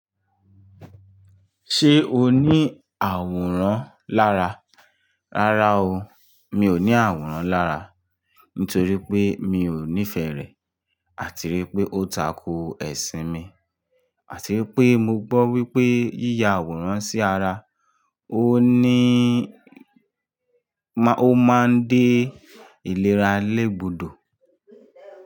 Ṣé o ní àwòrán lára? Rárá o, mi ò ní àwòrán lára nitorí pé mi ò nífẹ̀ẹ́ rẹ̀ àti wipé ó tako ẹ̀sìn mi àti wipé mo gbọ́ wípé yíya àwòrán sí ara o ni ó máa ń dé ìlera lé gbòdò.